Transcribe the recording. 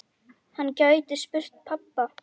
Hann gæti spurt pabba.